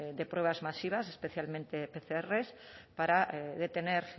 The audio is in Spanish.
de pruebas masivas especialmente pcr para detener